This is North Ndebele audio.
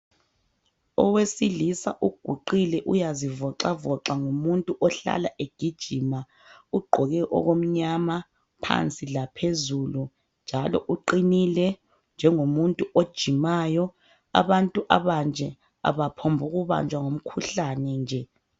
Owesilisa ugqoke uyazivoxavoxa ngumuntu ohlala egijima ugqoke okumnyama phansi laphezulu njalo uqinile njengomuntu ojimayo. Abantu abanje abaphombukubanjwa ngumkhuhlane nje.